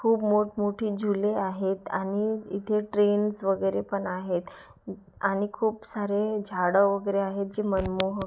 खूप मोठमोठे झूले आहेत आणि इथे ट्रेनस वगैरे पण आहेत आणि खूप सारे झाडं वगैरे आहेत जी मनमोहक--